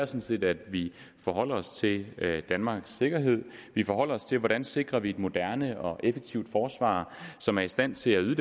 set at vi forholder os til danmarks sikkerhed vi forholder os til hvordan vi sikrer et moderne og effektivt forsvar som er i stand til at yde